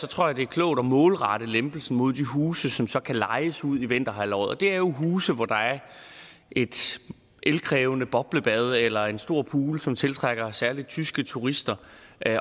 tror jeg det er klogt at målrette lempelsen mod de huse som så kan lejes ud i vinterhalvåret og det er jo huse hvor der er et elkrævende boblebad eller en stor pool som tiltrækker særlig tyske turister